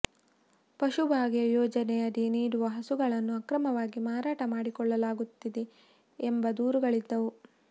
ಪಶುಭಾಗ್ಯ ಯೋಜನೆಯಡಿ ನೀಡುವ ಹಸುಗಳನ್ನು ಆಕ್ರಮವಾಗಿ ಮಾರಾಟ ಮಾಡಿಕೊಳ್ಳಲಾಗುತ್ತಿದೆ ಎಂಬ ದೂರುಗಳಿದ್ದವು